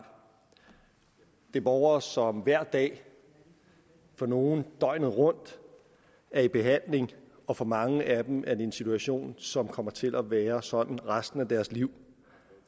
det er borgere som hver dag for nogle døgnet rundt er i behandling og for mange af dem er det en situation som kommer til at være sådan resten af deres liv